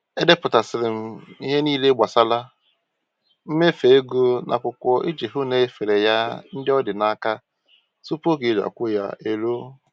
Edepụtasịrị m ihe niile gbasara mmefu ego n'akwụkwọ iji hụ na enyefere ya ndị ọ dị n'aka tupu oge e ji akwụ ya eruo